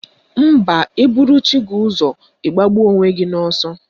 Mba, ị buru chi gị ụzọ ị gbagbuo onwe gị n'ọsọ